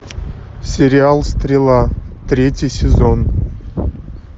сериал стрела третий сезон